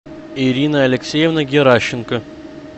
ирина алексеевна геращенко